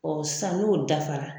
sisan n'o dafara